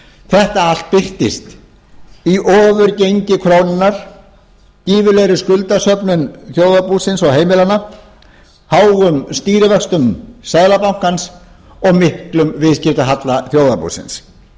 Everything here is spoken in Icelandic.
þetta allt birtist í ofurgengi krónunnar gífurlegri skuldasöfnun þjóðarbúsins og heimilanna háum stýrivöxtum seðlabankans og miklum viðskiptahalla þjóðarbúsins